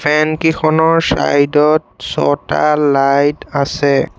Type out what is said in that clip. ফেন কিখনৰ চাইড ত ছটা লাইট আছে।